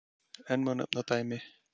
enn má nefna dæmi